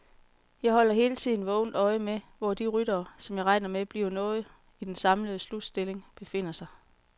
Jeg holder hele tiden vågent øje med, hvor de ryttere, som jeg regner med bliver noget i den samlede slutstilling, befinder sig.